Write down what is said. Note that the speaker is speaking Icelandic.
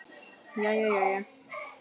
Jæja jæja.